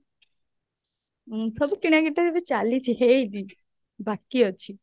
ଉଁ ସବୁ କିଣା କିଣି ତ ଏବେ ଚାଲିଛି ହେଇନି ବାକି ଅଛି